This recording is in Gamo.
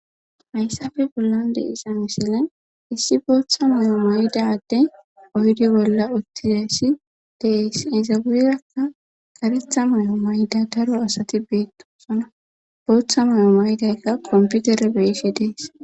hayssafe bollande iza misile issi booththa mayo maydade oydi bolla uttiessi dees izaweerakka garetha mayo mayda daro asati beettosona booththa mayo maydaykka komputere beeshe dees